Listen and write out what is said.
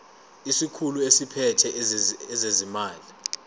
isikhulu esiphethe ezezimali